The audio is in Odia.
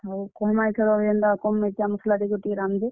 ହଉ କହେମା ଇଥର ଜେନ୍ତା କମ୍ ମିର୍ଚାମସ୍ ଲା ଦେଇକରି ଟିକେ ରାନ୍ଧବେ।